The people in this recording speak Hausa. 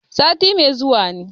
Sati mai zuwa ne.